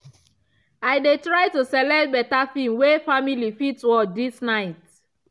i dey try to select better film way family fit watch this night.